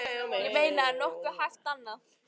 Ég meina er nokkuð hægt annað?